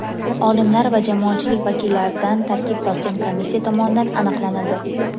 olimlar va jamoatchilik vakillaridan tarkib topgan komissiya tomonidan aniqlanadi.